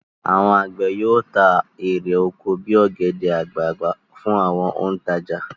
Àwọn àgbẹ̀ yóò ta èrè oko bí i ọ̀gẹ̀dẹ̀ àgbagbà fún àwọn òǹtajà.